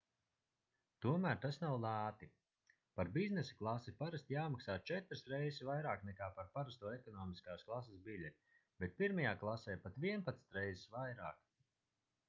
tomēr tas nav lēti par biznesa klasi parasti jāmaksā četras reizes vairāk nekā par parasto ekonomiskās klases biļeti bet pirmajā klasē pat vienpadsmit reizes vairāk